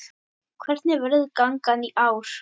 Hvernig verður gangan í ár?